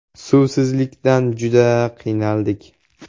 Suvsizlikdan juda qiynaldik.